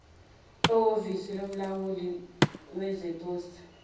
ehovisi lomlawuli wezeposi